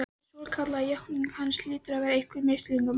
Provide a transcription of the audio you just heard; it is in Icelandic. Þessi svokallaða játning hans hlýtur að vera einhver misskilningur, bara